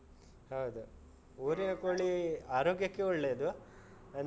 ಹೌದು. ಊರಿನ ಕೋಳಿ ಆರೋಗ್ಯಕ್ಕೆ ಒಳ್ಳೇದು ಅಂದ್ರೆ.